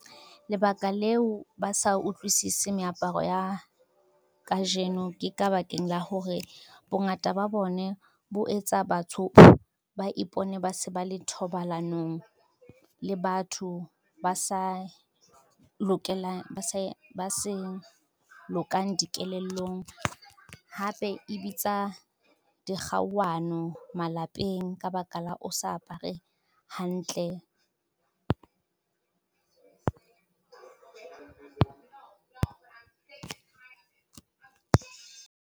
Lebaka leo ba sa utlwisise meaparo ya, kajeno ke ka bakeng la hore bongata ba bone bo etsa batho, ba ipone ba se ba le thobalanong le batho ba sa lokang dikelellong. Hape e bitsa dikgauwano malapeng ka baka la o sa apare hantle.